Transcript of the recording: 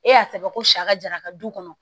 E y'a sɛbɛn ko sa ka jara ka du kɔnɔ